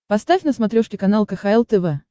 поставь на смотрешке канал кхл тв